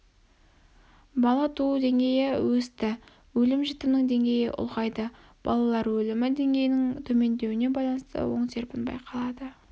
бала туу деңгейі өсті өлім жітімнің деңгейі ұлғайды балалар өлімі деңгейінің ғтөмендеуіне байланысты оң серпін байқалады